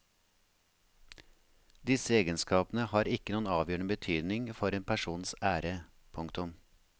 Disse egenskapene har ikke noen avgjørende betydning for en persons ære. punktum